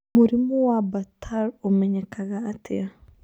Mũrimũ wa Bartter ũmenyekaga atĩa?